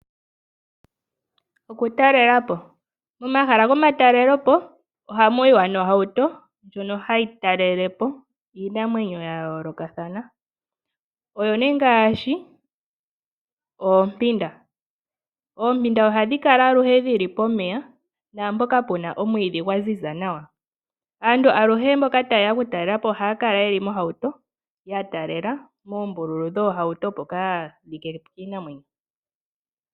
Okutalelapo, momahala gomatalelepo ohamu yiwa nohauto ndjono hayi talelepo iinamwenyo yayoolokathana, oyo nee ngaashi oompinda. Oompinda ohadhi kala aluhe dhili pomeya naampoka pena omwiidhi gwaziza nawa. Aantu aluhe mboka tayeya okutalelapo ohaya kala yeli mohauto yatalela moombululu dhohauto opo kaya like kiinamwenyo.